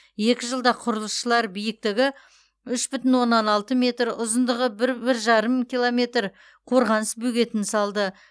екі жылда құрылысшылар биіктігі үш бүтін оннан алты метр ұзындығы бір бір жарым километр қорғаныс бөгетін салды